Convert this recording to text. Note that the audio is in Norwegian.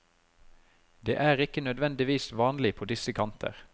Det er ikke nødvendigvis vanlig på disse kanter.